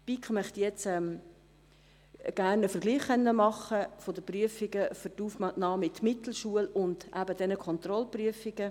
Die BiK möchte gerne einen Vergleich machen können mit den Prüfungen für die Aufnahme in die Mittelschule und den Kontrollprüfungen.